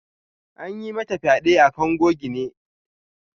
An yi mata fyade a kango gine.